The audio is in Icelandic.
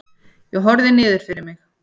Ég horfi niður fyrir mig.